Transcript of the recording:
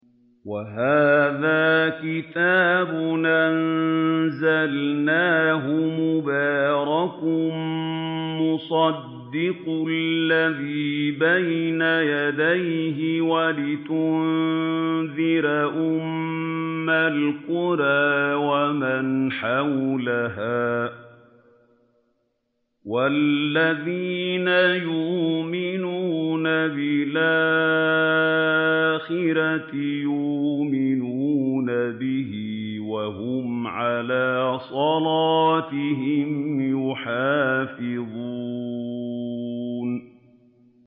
وَهَٰذَا كِتَابٌ أَنزَلْنَاهُ مُبَارَكٌ مُّصَدِّقُ الَّذِي بَيْنَ يَدَيْهِ وَلِتُنذِرَ أُمَّ الْقُرَىٰ وَمَنْ حَوْلَهَا ۚ وَالَّذِينَ يُؤْمِنُونَ بِالْآخِرَةِ يُؤْمِنُونَ بِهِ ۖ وَهُمْ عَلَىٰ صَلَاتِهِمْ يُحَافِظُونَ